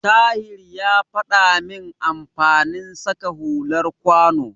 Tahir ya faɗa min amfanin saka hular kwano.